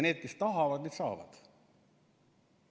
Need, kes tahavad, need saavad.